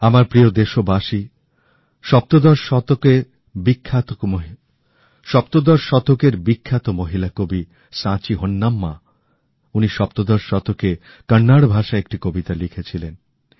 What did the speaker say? আমার প্রিয় দেশবাসী সপ্তদশ শতাব্দীর বিখ্যাত মহিলা কবি সাচি হোন্নাম্মা উনি সপ্তদশ শতকে কন্নড় ভাষায় একটি কবিতা লিখেছিলেন